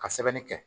Ka sɛbɛnni kɛ